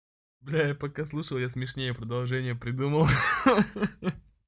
бля я пока слушал я смешнее продолжение придумал ха-ха